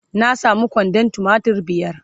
na samu kwandon tumatir biyar